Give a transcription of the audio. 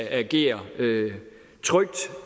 agere trygt